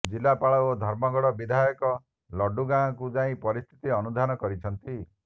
ଜିଲ୍ଲାପାଳ ଓ ଧର୍ମଗଡ ବିଧାୟକ ଲଡୁଗାଁକୁ ଯାଇ ପରିସ୍ଥିତି ଆନୁଧ୍ୟାନ କରିଛନ୍ତି